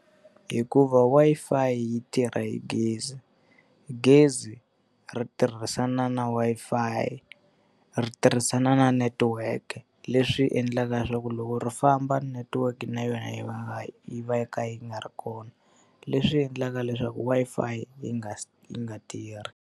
Hikuva Wi-Fi yi tirha hi gezi, gezi ri tirhisana na Wi-Fi ri tirhisana na network-e. Leswi endlaka leswaku loko ri famba network na yona yi va yi va ka yi nga ri kona, leswi endlaka leswaku Wi-Fi yi nga yi nga tirhi.